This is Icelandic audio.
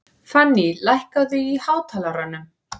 Fanný, lækkaðu í hátalaranum.